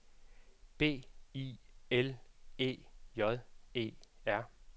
B I L E J E R